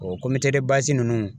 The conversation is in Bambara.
O ninnu